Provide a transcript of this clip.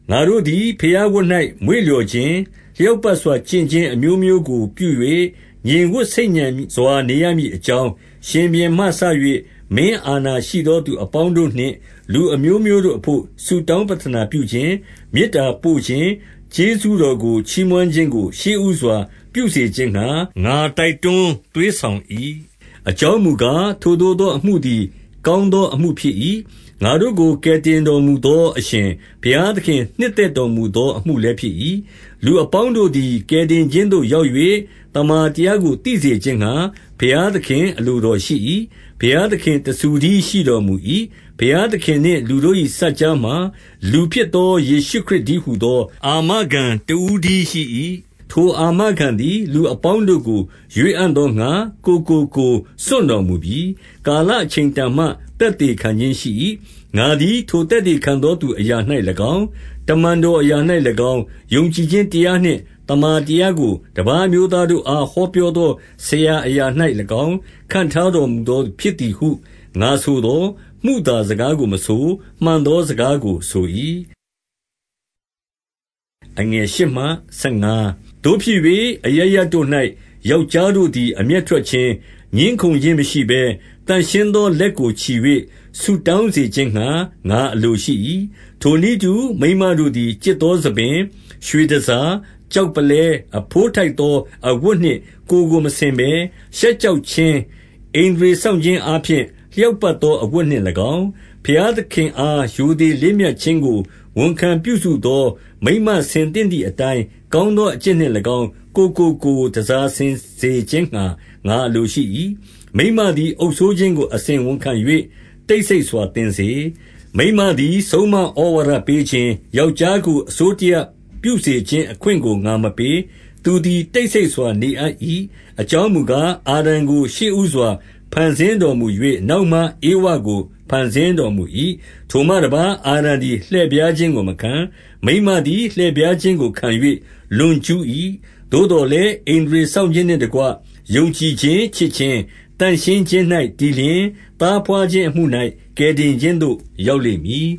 ငါတို့သည် ဘုရားဝတ်၌ မွေ့လျော်ခြင်း၊ လျောက်ပတ်စွာ ကျင့်ခြင်းအမျိုးမျိုးကိုပြု၍၊ 2 ငြိမ်ဝပ်ဆိတ်ညံစွာနေရမည်အကြောင်း၊ ရှင်ဘုရင်မှစ၍ မင်းအာဏာရှိသော သူအပေါင်းတို့နှင့် လူ အမျိုးမျိုးတို့အဘို့ ဆုတောင်းပဌာနာပြုခြင်း၊ မေတ္တာပို့ခြင်း၊ ကျေးဇူးတော်ကို ချီးမွမ်းခြင်းကို ရှေ့ဦးစွာ ပြုစေခြင်းငှါ ငါတိုက်တွင်း သွေးဆောင်၏။ 3 အကြောင်းမူကား၊ ထိုသို့သော အမှုသည် ကောင်းသောအမှုဖြစ်၏။ ငါတို့ကိုကယ်တင်တော်မူသော အရှင်ဘုရားသခင်နှစ်သက် တော်မူသောအမှုလည်းဖြစ်၏။ 4 လူအပေါင်းတို့သည် ကယ်တင်ခြင်းသို့ရောက်၍ သမ္မာတရားကို သိစေခြင်းငှါ၊ ဘုရားသခင်အလိုတော် ရှိ၏။ 5 ဘုရားသခင် တဆူတည်းရှိတော်မူ၏။ ဘုရားသခင်နှင့် လူတို့၏ စပ်ကြားမှာ၊ လူဖြစ်သော ယေရှုခရစ် တည်းဟူသော အာမခံတဦးတည်းရှိ၏။ 6 ထိုအာခံသည် လူအပေါင်းတို့ကို ရွေးအံ့သောငှါ ကိုယ်ကိုကိုယ် စွန့်တော်မူပြီ။ ကာလအချိန်တန်မှ သက်သေခံခြင်းရှိ၏။ 7 ငါသည်ထိုသက်သေခံသောသူ အရာ၌၎င်း၊ တမန်တော်အရာ၌၎င်း၊ ယုံကြည်ခြင်းတရားနှင့် သမ္မာ တရားကို တပါးအမျိုးသားတို့အား ဟောပြောသောဆရာ အရာ၌၎င်း ခန့်ထားတော်မူသောသူ ဖြစ်သည်ဟု ငါဆိုသော်၊ မုသားစကားကိုမဆို၊ မှန်သောစကားကိုဆို၏။ 8 သို့ဖြစ်၍၊ အရပ်ရပ်တို့၌ ယောက်ျားတို့သည် အမျက်ထွက်ခြင်း၊ ငြင်းခုံခြင်းမရှိဘဲ၊ သန့်ရှင်းသောလက် ကိုချီ၍ ဆုတောင်းစေခြင်းငှါ ငါအလိုရှိ၏။ 9 ထိုနည်းတူ၊ မိန်းမတို့သည် ကျစ်သောဆံပင်၊ ရွှေတန်ဆာ၊ ကျောက်ပုလဲအဘိုးထိုက်သော အဝတ်နှင့် ကိုယ်ကို မဆင်ဘဲ၊ ရှက်ကြောက်ခြင်း၊ ဣန္ဒြေစောင့်ခြင်းအားဖြင့်၊ လျောက်ပတ်သော အဝတ်နှင့်၎င်း၊ 10 ဘုရားသခင်အားရိုသေလေးမြတ်ခြင်းကို ဝန်ခံပြုစုသော မိန်းမဆင်သင့်သည်အတိုင်း ကောင်းသော အကျင့်နှင့်၎င်း၊ ကိုယ်ကို တန်ဆာဆင်စေခြင်းငှါ ငါအလိုရှိ၏။ 11 မိန်းမသည်အုပ်စိုးခြင်းကို အစဉ်ဝန်ခံ၍ တိတ်ဆိတ်စွာသင်စေ။ 12 မိန်းမသည်ဆုံးမဩဝါဒပေးခြင်း၊ ယောက်ျားကို အစိုးတရပြုစေခြင်း အခွင့်ကိုငါမပေး။ သူသည် တိတ် ဆိတ်စွာ နေအပ်၏။ 13 အကြောင်းမူကား၊ အာဒံကို ရှေ့ဦးစွာ ဖန်ဆင်းတော်မူ၍၊ နောက်မှ ဧဝကိုဖန်ဆင်းတော်မူ၏။ 14 ထိုမှတပါး၊ အာဒံသည်လှည့်ဖြားခြင်းကိုမခံ၊ မိန်းမသည် လှည့်ဖြားခြင်းကိုခံ၍ လွန်ကျူး၏။ 15 သို့သော်လည်း၊ ဣန္ဒြေစောင့်ခြင်းနှင့်တကွ ယုံကြည်ခြင်း၊ ချစ်ခြင်း၊ သန့်ရှင်းခြင်း၌ တည်လျှင်၊ သားဘွားဖြင်းအမှု၌ ကယ်တင်ခြင်းသို့ရောက်လိမ့်မည်